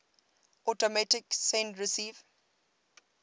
automatic send receive